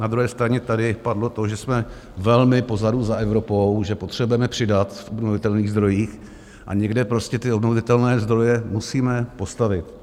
Na druhé straně tady padlo to, že jsme velmi pozadu za Evropou, že potřebujeme přidat v obnovitelných zdrojích a někde prostě ty obnovitelné zdroje musíme postavit.